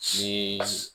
Ni